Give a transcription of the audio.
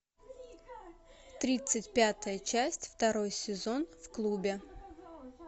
тридцать пятая часть второй сезон в клубе